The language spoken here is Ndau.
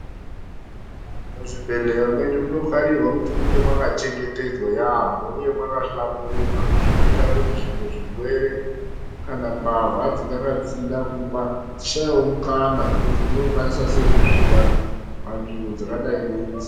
Muzvibhendleya mwedu munokarirwa kunga mwakachengetedzwa yaamho uye mwakahlamburuka. Zvinoita kuti zvimwe zvirwere kana mbavha dzinenge dzichida kuba dzishaiwewo mukana wekuti dzinokwanisa sei kusvika panzvimbo dzakadai neidzi.